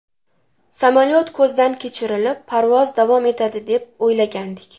Samolyot ko‘zdan kechirilib, parvoz davom etadi deb o‘ylagandik.